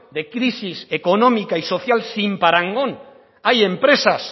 de crisis económica y social sin parangón hay empresas